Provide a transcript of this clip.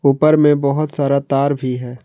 ऊपर में बहुत सारा तार भी है।